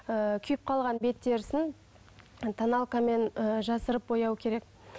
ы күйіп қалған бет терісін тоналкамен ы жасырып бояу керек